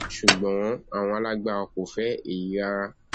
ṣùgbọn àwọn alágbára kò fẹ èyí rárá